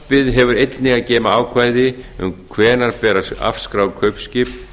frumvarpið hefur einnig að geyma ákvæði um hvenær ber að afskrá kaupskip